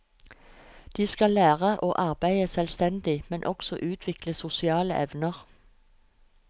De skal lære å arbeide selvstendig, men også utvikle sosiale evner.